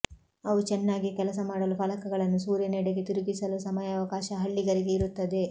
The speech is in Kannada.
ಅವು ಚೆನ್ನಾಗಿ ಕೆಲಸ ಮಾಡಲು ಫಲಕಗಳನ್ನು ಸೂರ್ಯನೆಡೆಗೆ ತಿರುಗಿಸಲೂ ಸಮಯಾವಕಾಶ ಹಳ್ಳಿಗರಿಗೆ ಇರುತ್ತದೆ